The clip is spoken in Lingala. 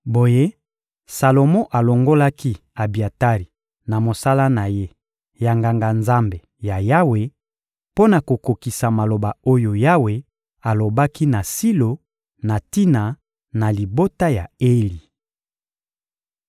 Boye, Salomo alongolaki Abiatari na mosala na ye ya Nganga-Nzambe ya Yawe, mpo na kokokisa maloba oyo Yawe alobaki na Silo na tina na libota ya Eli.